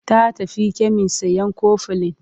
Ya tafi kemis sayan kofilin.